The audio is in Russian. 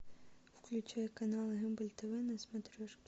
включай канал рубль тв на смотрешке